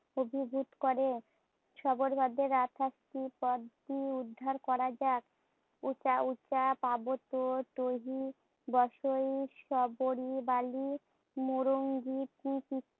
অভিভুত করে। শবরপাদের আটাশটি পদগুলি উদ্ধার করা যাক। উচাউচা, পার্বত্য, তৈহি, বসয়ই, শবরি বালি মুরংগীতি